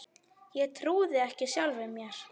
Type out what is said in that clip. Ég trúði ekki sjálfum mér.